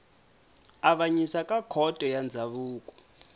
avanyisa ka khoto ya ndzhavuko